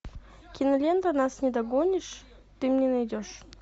кинолента нас не догонишь ты мне найдешь